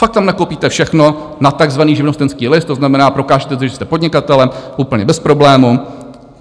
Fakt tam nakoupíte všechno na takzvaný živnostenský list, to znamená, prokážete, že jste podnikatelem, úplně bez problémů.